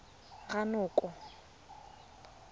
ranoko